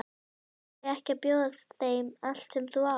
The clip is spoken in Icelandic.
Af hverju ekki að bjóða þeim allt sem þú átt?